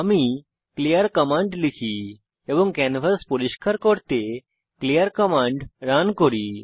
আমি clear command লিখি এবং ক্যানভাস পরিষ্কার করতে ক্লিয়ার কমান্ড রান করি